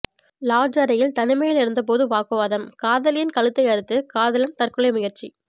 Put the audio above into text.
lodge அறையில் தனிமையில் இருந்தபோது வாக்குவாதம் காதலியின் கழுத்தை அறுத்து காதலன் தற்கொலை முயற்சி